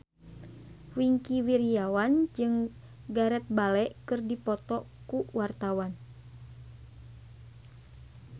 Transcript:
Wingky Wiryawan jeung Gareth Bale keur dipoto ku wartawan